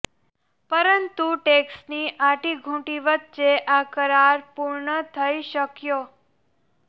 પરંતુ ટેકસની આંટીઘુટી વચ્ચે આ કરાર પૂર્ણ થઇ શકયો